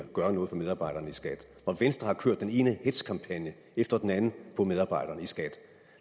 gøre noget for medarbejderne i skat når venstre har kørt den ene hetzkampagne efter den anden mod medarbejderne i skat